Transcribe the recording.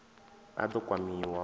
a d o kwamiwa u